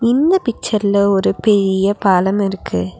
இந்த பிச்சர்ல ஒரு பெரிய பாலம் இருக்கு.